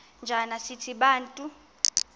njana sithi bantu